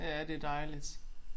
Ja det dejligt